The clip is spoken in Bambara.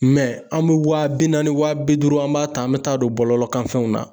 an bɛ waa bi naani wa bi duuru an b'a ta an bɛ taa don bɔlɔlɔkanfɛnw na